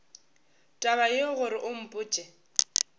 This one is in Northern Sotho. taba yeo gore o mpotše